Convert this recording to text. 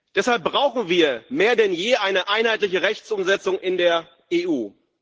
Deshalb brauchen wir mehr denn je eine einheitliche Rechtsumsetzung in der EU.